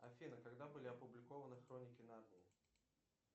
афина когда были опубликованы хроники нарнии